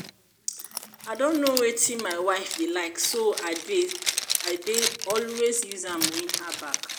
i don know wetin my wife dey like so i dey so i dey always use am win her back